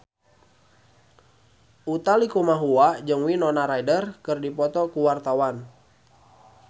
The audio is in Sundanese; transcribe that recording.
Utha Likumahua jeung Winona Ryder keur dipoto ku wartawan